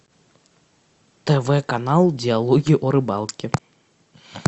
тв канал диалоги о рыбалке